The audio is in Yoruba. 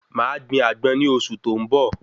Màá gbin Àgbọn ní oṣù tó n bọ